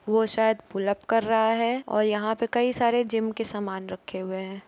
वो शायद pull up कर रहा है और यहाँ पे कई सारे जिम के सामान रखे हुए हैं ।